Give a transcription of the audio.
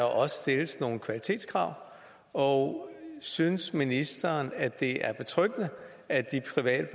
også stilles nogle kvalitetskrav og synes ministeren at det er betryggende at de private